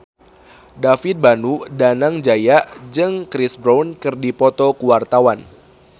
David Danu Danangjaya jeung Chris Brown keur dipoto ku wartawan